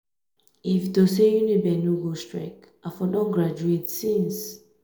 if to say uniben no go strike i for don graduate since